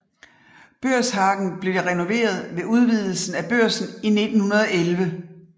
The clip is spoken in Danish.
Børshagen blev renoveret ved udvidelsen af Børsen i 1911